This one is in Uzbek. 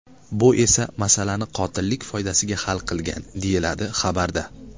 Bu esa masalani qotillik foydasiga hal qilgan”, deyiladi xabarda.